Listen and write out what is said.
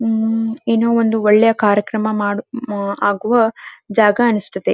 ಉಹ್ಹ್ ಏನೋ ಒಂದು ಒಳ್ಳೆಯ ಕಾರ್ಯಕ್ರಮ ಮಾಡು ಆಗುವ ಜಾಗ ಅನ್ಸತದೆ.